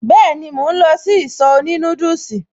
Been, mò ń lọ sí ìsọ̀ òní núdùsì